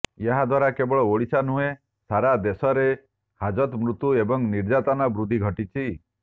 ଏହାଦ୍ୱାରା କେବଳ ଓଡ଼ିଶା ନୁହେଁ ସାରା ଦେଶରେ ହାଜତ ମୃତ୍ୟୁ ଏବଂ ନିର୍ଯାତନା ବୃଦ୍ଧି ଘଟିଛି